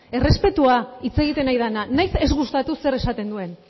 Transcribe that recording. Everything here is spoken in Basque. errespetua hitz egiten ari dena nahiz ez gustatu zer esaten duen